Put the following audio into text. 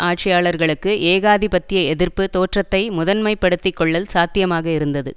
ஆட்சியாளர்களுக்கு ஏகாதிபத்திய எதிர்ப்பு தோற்றத்தை முதன்மை படுத்திக்கொள்ளல் சாத்தியமாக இருந்தது